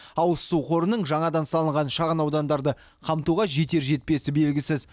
ауыз су қорының жаңадан салынған шағын аудандарды қамтуға жетер жетпесі белгісіз